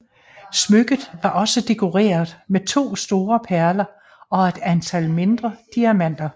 Smykket var også dekoreret med to store perler og et antal mindre diamanter